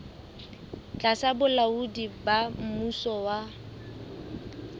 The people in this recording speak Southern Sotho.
tlasa bolaodi ba mmuso wa